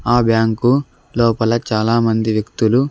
ఆ బ్యాంకు లోపల చాలామంది వ్యక్తులు--